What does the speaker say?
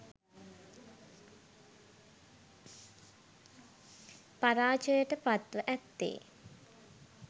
පරාජයට පත්ව ඇත්තේ